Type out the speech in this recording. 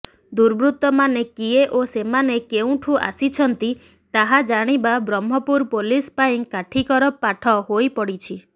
ଦୁର୍ବୃତ୍ତମାନେ କିଏ ଓ ସେମାନେ କେଉଁଠୁ ଆସିଛନ୍ତି ତାହା ଜାଣିବା ବ୍ରହ୍ମପୁର ପୁଲିସ ପାଇଁ କାଠିକର ପାଠ ହୋଇପଡ଼ିଛି